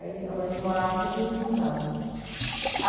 Aí onde a gente morava ficou tudo inundado.